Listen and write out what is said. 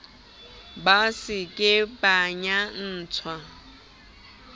ba se ke ba nyantsha